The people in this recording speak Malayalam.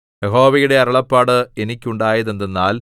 യഹോവയുടെ അരുളപ്പാട് എനിക്കുണ്ടായതെന്തെന്നാൽ